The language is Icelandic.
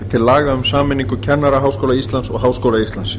til laga um sameiningu kennaraháskóla íslands og háskóla íslands